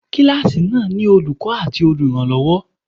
Kíláàsì náà ni Olùkọ́ àti olùrànlọ́wọ́.